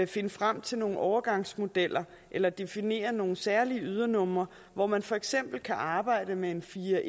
finde frem til nogle overgangsmodeller eller definere nogle særlige ydernumre hvor man for eksempel kan arbejde med en fire